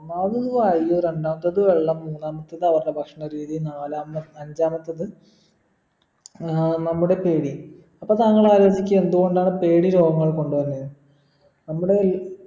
മാലിന്യമായിരിക്കു രണ്ടാമത്തത് വെള്ളം മൂന്നാമത്തത് അവരുടെ ഭക്ഷണ രീതി നാലാമ അഞ്ചാമത്തത് ഏർ നമ്മുടെ പേടി അപ്പോ താങ്കൾ ആലോചിക്ക എന്തുകൊണ്ടാണ് പേടി രോഗങ്ങൾ കൊണ്ട് വന്നെ നമ്മുടെ ഈ